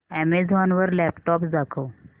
Amazon वर laptops दाखव